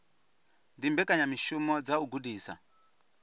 ndi mbekanyamishumo dza u gudisa